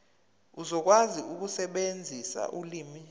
uzokwazi ukusebenzisa ulimi